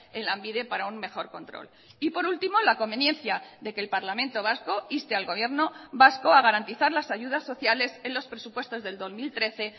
en lambide para un mejor control y por último la conveniencia de que el parlamento vasco inste al gobierno vasco a garantizar las ayudas sociales en los presupuestos del dos mil trece